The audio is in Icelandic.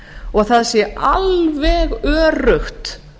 og það sé alveg öruggt